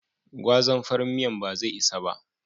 Gwazan farin miyan ba zai isa ba.